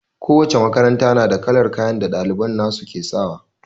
Kowace makaranta ta na da kalar kayan da ɗaliban ta su ke sawa